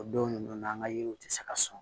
O don ninnu na an ka yiriw tɛ se ka sɔn